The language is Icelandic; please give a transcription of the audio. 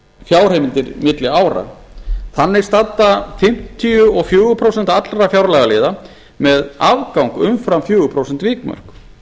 fjárheimildir milli ára þannig standa fimmtíu og fjögur prósent allra fjárlagaliða með afgang umfram fjögur prósent vikmörk